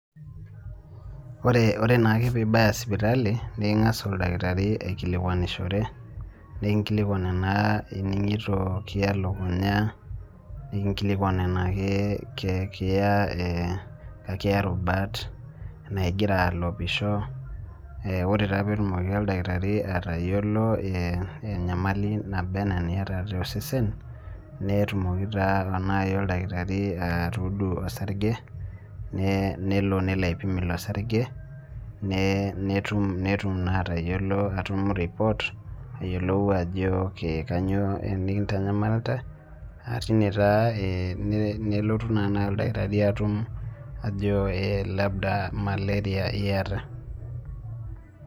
Ore nake pibaya sipitali, niking'as oldakitari aikilikwanishore, nikinkilikwan enaa ining'ito kiaya elukunya, nikinkilikwan enaa kekiya, ekiya rubat, enaa gira alopisho, ore taa petimoki oldakitari atayiolo enyamali naba enaa eniata tosesen, netumoki taa nai oldakitari atudu osarge, nelo nelo aipim ilo sarge, netum naa atayiolo atum report, ayiolou ajo kanyioo nikintanyamalta, ah tine taa nelotu ta nai oldakitari atum ajo labda maleria iyata.